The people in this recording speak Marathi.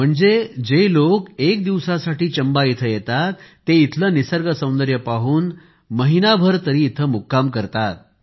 म्हणजे जे लोक एकदा चंबा येथे येतात ते इथले निसर्गसौंदर्य पाहून महिनाभर तरी मुक्काम करतात